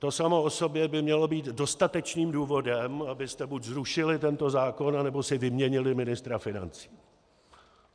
To samo o sobě by mělo být dostatečným důvodem, abyste buď zrušili tento zákon, nebo si vyměnili ministra financí.